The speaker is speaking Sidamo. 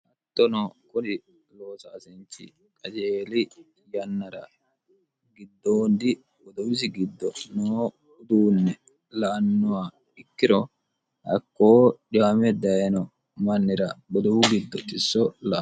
hattono kuni loosaasinchi qajeeli yannara giddoondi godowisi giddo noo uduunne la'annoha ikkiro hakkoo dhiwame dayino mannira godowu giddo tisso la'a